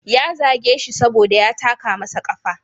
Ya zage shi saboda ya taka masa kafa.